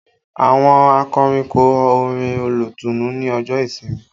Àwọn akọrin kọ orin olùtùnú ní ọjọ́ ìsinmi